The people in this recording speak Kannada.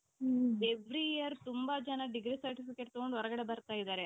ಮ್ every ಇಯರ್ ತುಂಬಾ ಜನ degree certificate ತಗೊಂಡ್ ಬರ್ತಾಯಿದ್ದಾರೆ